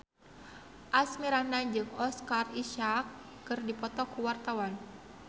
Asmirandah jeung Oscar Isaac keur dipoto ku wartawan